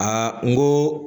n ko